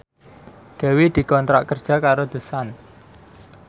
Dewi dikontrak kerja karo The Sun